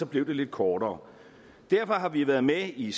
blev det lidt kortere derfor har vi været med i